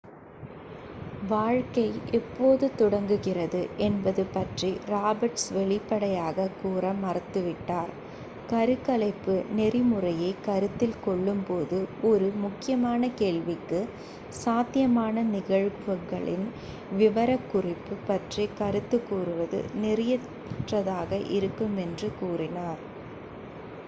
வாழ்க்கை எப்போது தொடங்குகிறது என்பது பற்றி ராபர்ட்ஸ் வெளிப்படையாக கூற மறுத்துவிட்டார் கருக்கலைப்பு நெறிமுறையை கருத்தில் கொள்ளும்போது ஒரு முக்கியமான கேள்விக்கு சாத்தியமான நிகழ்வுகளின் விவரக்குறிப்பு பற்றி கருத்து கூறுவது நெறியற்றதாக இருக்கும் என்று கூறினார்